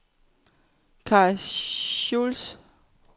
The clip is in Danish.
Kai Schultz